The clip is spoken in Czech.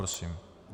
Prosím.